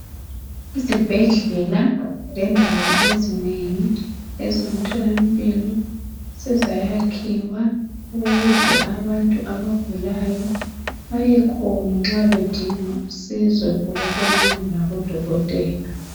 Izibhedlela lendawo ezinengi ezomthola mpilo sezayayikhiwa ukuze abantu abagulayo bayekhona nxa bedinga usizo ngokubonana labodotela